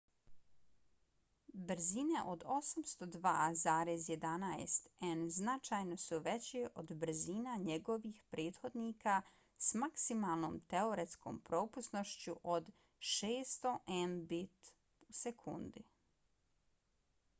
brzine od 802,11n značajno su veće od brzina njegovih prethodnika s maksimalnom teoretskom propusnošću od 600mbit/s